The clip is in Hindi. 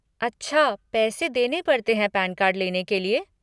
अच्छा पैसे देने पड़ते हैं पैन कार्ड लेने के लिए?